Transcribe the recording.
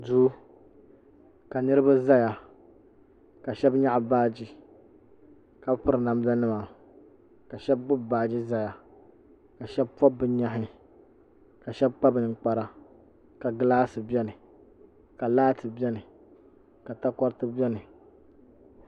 duu ka niraba ʒɛya ka shab nyaɣa baaji ka piri namda nima ka shab gbubi baaji ʒɛya ka shab pobi bi nyaɣi ka shab kpa ninkpara ka gilaasi biɛni ka laati biɛni ka takoriti biɛni